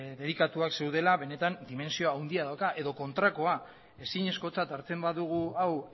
dedikatuak zeudela benetan dimentsio handia dauka edo kontrakoa ezinezkotzat hartzen badugu hau